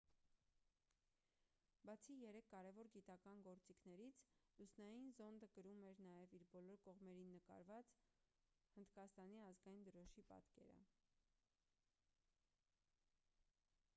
բացի երեք կարևոր գիտական գործիքներից լուսնային զոնդը կրում էր նաև իր բոլոր կողմերին նկարված հնդկաստանի ազգային դրոշի պատկերը